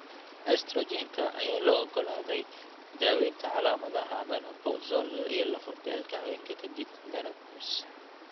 Estrogen-ka ayaa loo oggolaaday daawaynta calaamadaha menopausal iyo lafo-beelka haweenka ka dib menopause.